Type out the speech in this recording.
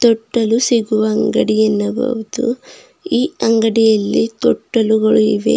ತೊಟ್ಟಿಲು ಸಿಗುವ ಅಂಗಡಿ ಎನ್ನಬಹುದು ಈ ಅಂಗಡಿಯಲ್ಲಿ ತೊಟ್ಟಲುಗಳು ಇವೆ.